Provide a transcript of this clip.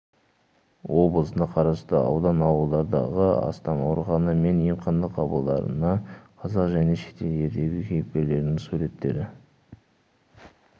облысына қарасты аудан ауылдардағы астам аурухана мен емхана қабырғаларына қазақ және шетел ертегі кейіпкерлерінің суреттері